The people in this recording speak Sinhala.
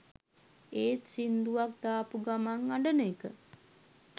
ඒත් සිංදුවක් දාපු ගමන් අඬන එක